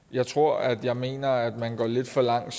jeg tror at jeg mener at man går lidt for langt